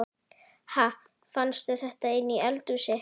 Ha! Fannstu þetta inni í eldhúsi?